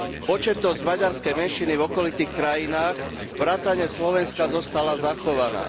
Početnosť maďarskej menšiny v okolitých krajinách vrátane Slovenska zostala zachovaná.